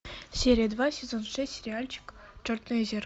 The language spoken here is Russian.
серия два сезон шесть сериальчик черное зеркало